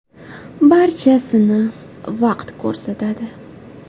Barchasini vaqt ko‘rsatadi.